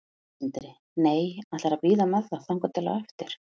Sindri: Nei, ætlarðu að bíða með það þangað til á eftir?